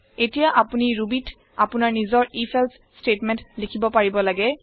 এতিয়া আপোনি Rubyত আপোনাৰ নিজৰ if এলছে ষ্টেটমেণ্ট লিখিব পাৰিব লাগে